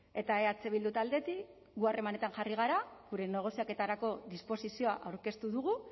eta eh bildu taldetik gu harremanetan jarri gara gure negoziaketarako disposizioa aurkeztu dugu